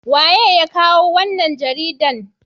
waye ya kawo wannan jaridan?